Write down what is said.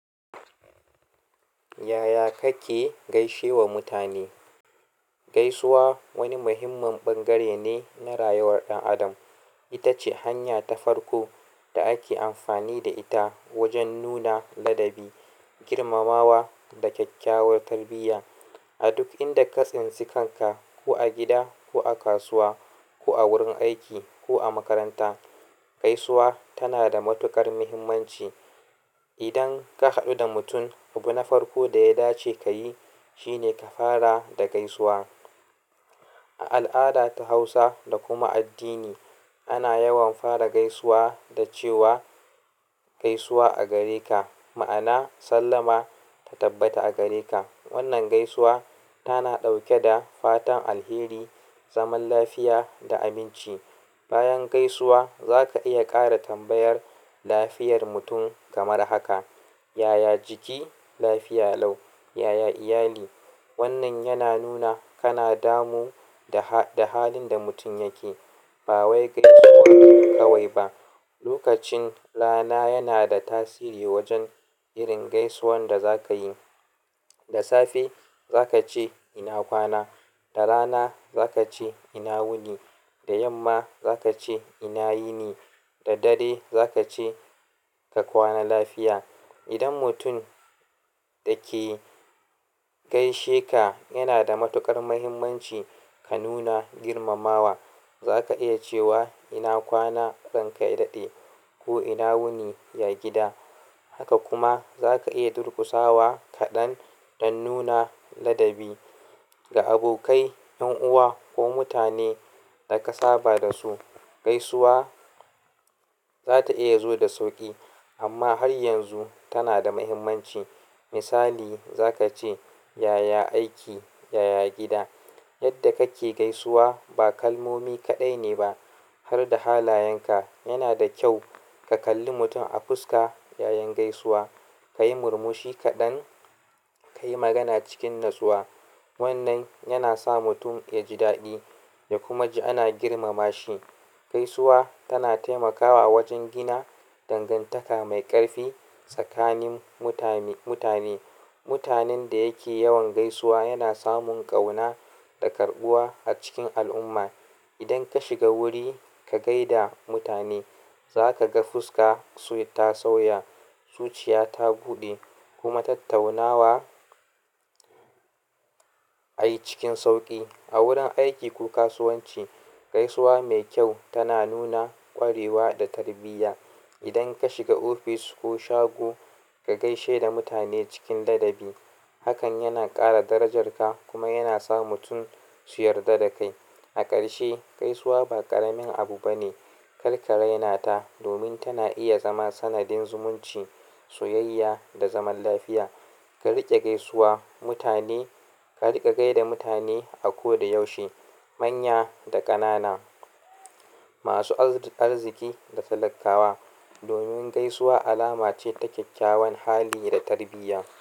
Yaya kake gaishewa mutane? Gaisuwa wani muhimmin bangare ne na rayuwar ɗan adam. Ita ce hanya ta farko da ake amfani da ita wajen nuna ladabi, girmamawa da kyakkyawar tarbiyya. A duk inda ka tsintsika ka, ko a gida ko a kasuwa ko a wurin aiki ko a makaranta, gaisuwa tana da matuƙar muhimmanci. Idan ka haɗu da mutum, abu na farko da ya dace ka yi shine ka fara da gaisuwa. A al'ada ta Hausa da kuma addini, ana yawan fara gaisuwa da cewa "Gaisuwa a gare ka", ma'ana sallama ta tabbata a gare ka. Wannan gaisuwa tana ɗauke da fatan alheri, zaman lafiya da aminci. Bayan gaisuwa zaka iya ƙara tambayar lafiyar mutum kamar haka. "Yaya jiki?", "Lafiya lau", "Yaya iyali?" wannan yana nuna kana damu da ha-da halin da mutum yake. Ba wai gaisuwa kawai ba, lokacin rana yana da tasiri wajen irin gaisuwan da za ka yi. Da safe za ka ce "ina kwana", da rana za ka ce "ina wuni", da yamma za ka ce "ina yini", da dare za ka ce "Ka kwana lafiya". Idan mutum da ke gaishe ka yana da matuƙar muhimmanci, ka nuna girmamawa. Za ka iya cewa "ina kwana, ranka yayi daɗi" ko "ina wuni, ya gida". Haka kuma za ka iya durƙusawa kaɗan don nuna ladabi. Ga abokai, ƴan uwa ko mutane da ka saba da su, gaisuwa za ta iya zo da sauƙi amma har yanzu tana da mahimmanci. Misali za ka ce "Yaya aiki?", "Yaya gida?". Yadda kake gaisuwa ba kalmomi kaɗai ne ba har da halayenka. Yana da kyau ka kalli mutum a fuska yayin gaisuwa, ka yi murmushi kaɗan, ka yi magana cikin natsuwa. Wannan yana sa mutum ya ji daɗi ya kuma ji ana girmama shi. Gaisuwa tana taimakawa a wajen gina dangantaka mai ƙarfi tsakanin mutane-mutane. Mutanen da yake yawan gaisuwa yana samun ƙauna da karɓuwa a cikin al'umma. Idan ka shiga wuri ka gaida mutane, za ka ga fuska ta sauya, zuciya ta buɗe kuma tattaunawa a yi cikin sauƙi. A wurin aiki ko kasuwanci, gaisuwa mai kyau tana nuna ƙwarewa da tarbiyya. Idan ka shiga office ko shago, ka gaishe da mutane cikin ladabi. Hakan yana ƙara darajarka kuma yana sa mutum su yarda da kai. A ƙarshe, gaisuwa ba ƙaramin abu bane. Kar ka raina ta domin tana iya zama sanadin zumunci, soyayya da zaman lafiya. Ka riƙa gaisuwa mutane, ka riƙa gaida mutane a koda yaushe, manya da ƙanana, masu arziki da talakawa. Domin gaisuwa alama ce ta kyakkyawan hali da tarbiyya.